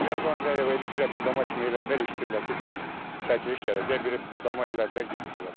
Yerbanda elə biraz budama kimi elədilər, eşitdilər ki, çəkiliş gələcək, bir budama elədilər getdilər.